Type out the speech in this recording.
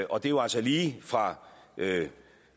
og det er jo altså lige fra